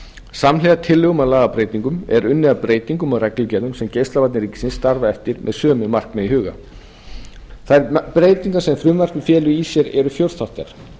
samhliða tillögum að lagabreytingum er unnið að breytingum á reglugerðum sem geislavarnir ríkisins starfa eftir með sömu markmið í huga þær breytingar sem frumvarpið felur í sér eru fjórþættar